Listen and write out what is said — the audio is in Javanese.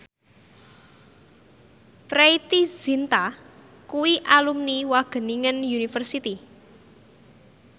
Preity Zinta kuwi alumni Wageningen University